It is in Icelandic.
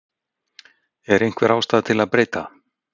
Er einhver ástæða til að breyta?